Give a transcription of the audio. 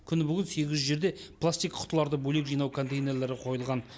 күні бүгін сегіз жүз жерде пластик құтыларды бөлек жинау контейнерлері қойылған